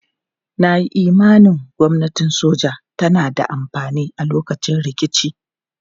Na yi imanin gwamnatin soja tana da amfani a lokacin rikici.